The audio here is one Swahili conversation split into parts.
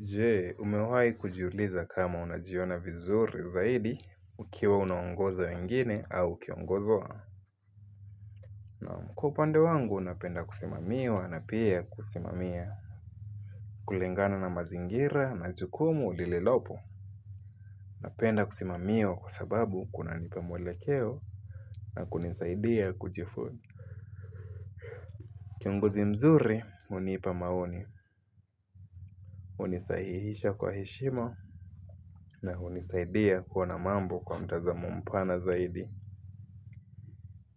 Jee umewahi kujiuliza kama unajiona vizuri zaidi ukiwa unaongoza wengine au ukiongozwa. Nam kwa upande wangu napenda kusimamiwa na pia kusimamia. Kulingana na mazingira na jukumu lililopo napenda kusimamiwa kwa sababu kunanipa mwelekeo na kunisaidia kujifu kiongozi mzuri unipa maoni. Unisahihisha kwa heshima na unisaidia kuona mambo kwa mtazamo mpana zaidi.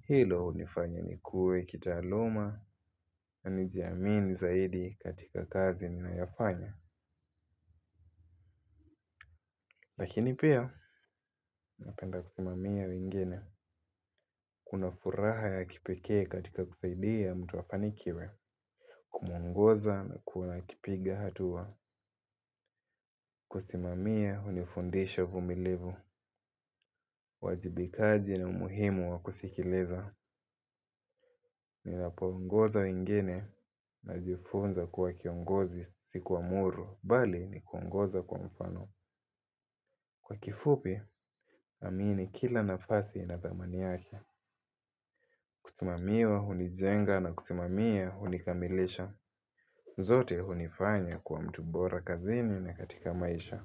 Hilo unifanya nikuwue kitaaluma na nijiamini zaidi katika kazi ninayofanya. Lakini pia napenda kusimamia wengine. Kuna furaha ya kipekee katika kusaidia mtu afanikiwe. Kumongoza na kuona akipiga hatua. Kusimamia hunifundisha uvumilivu. Wajibikaji na umuhimu wakusikiliza. Ninapo ongoza wengine najifunza kuwa kiongozi sikuamuru. Bali ni kuongoza kwa mfano. Kwa kifupi, amini kila nafasi ina thamani yake. Kusimamiwa, hunijenga na kusimamia, hunikamilisha. Zote hunifanya kwa mtu bora kazini na katika maisha.